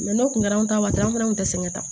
n'o tun kɛra anw ta waati an fana tun tɛ sɛgɛn ta